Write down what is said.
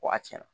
Waati na